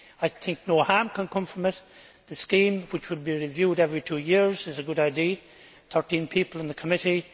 I think no harm can come from it the scheme which would be reviewed every two years is a good idea thirteen people in the committee